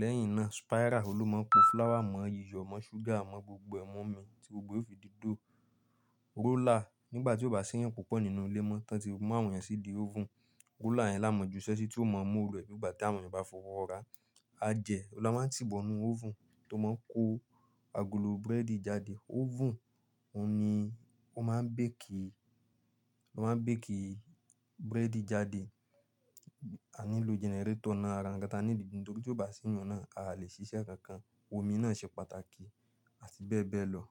Lẹ́yìn náà, spiral òn ló máa ń pò flour mọ, iyọ̀ mọ, ṣúgà mọ, gbogbo ẹ̀ mọ́ omi tí gbogbo ẹ̀ ó fi di dough. Roller, nígbà tí ó bá sí èyàn púpọ̀ nínú ilé mọ́, tí wọ́n ti mú àwọn èèyàn sí ìdí oven, roller yẹn la máa juṣẹ́ sí tí ó mọ oru ẹ̀ bí ígbà tí àwọn èèyàn bá fọwọ́ raá. Ajẹ̀ òun la máa ń tì bọ̀ ínú oven tó máa ń kó agolo búrẹ́dì jáde. Oven òun ni ó ma n bake i ó máa ń bake búrẹ́dì jáde. A nílò generator náà, ara nkan tí a níìdì, nítorí tí ó bá sí ìyan náà, a lè ṣiṣẹ́ kankan. Omi náà ṣe pàtàkì àti bẹ́ẹ̀ bẹ́ẹ̀ lọ.